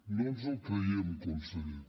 no ens el creiem conseller